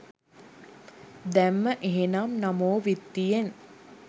දැම්ම එහෙනම් නමෝ විත්තියෙන්.